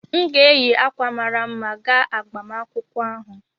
M ga-eyi akwa mara mma gaa agbamakwụkwọ ahụ